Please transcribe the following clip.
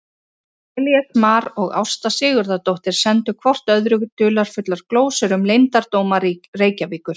Elías Mar og Ásta Sigurðardóttir sendu hvort öðru dularfullar glósur um leyndardóma Reykjavíkur.